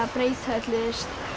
breyta öllu